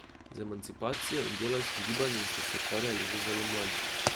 Z emancipacijo in delavskim gibanjem ste se ukvarjali že zelo mladi.